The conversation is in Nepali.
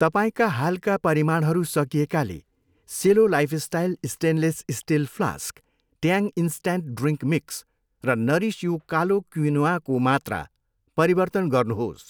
तपाईँका हालका परिमाणहरू सकिएकाले Cello lifestyle stainless steel flask, Tang instant drink mix र नरिस यु कालो क्विनोआको मात्रा परिवर्तन गर्नुहोस्।